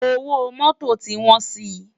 Ówó Mòtó ti wòn si